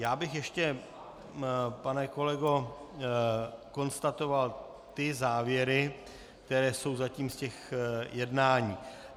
Já bych ještě, pane kolego, konstatoval ty závěry, které jsou zatím z těch jednání.